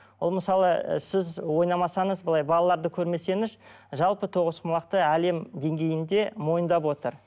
ол мысалы ы сіз ойнамасаңыз былай балаларды көрмесеңіз жалпы тоғызқұмалақты әлем деңгейінде мойындап отыр